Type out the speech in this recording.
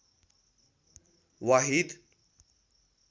वाहिद